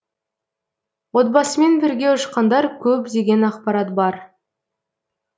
отбасымен бірге ұшқандар көп деген ақпарат бар